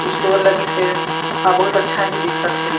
Store लगिसे और बहुत अच्छा ही दिखत हे।